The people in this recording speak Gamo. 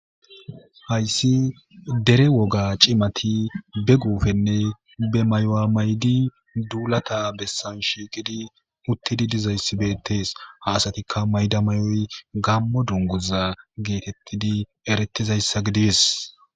Hays dera woga cimati be gufenne be mayo mayidi dulata besan utidayss bettes ha asatikka oyikkidi dulata besan utidi dizayissi bettes ha asatikka mayida mayoy gammo dunguza getetidi eretidayssa gides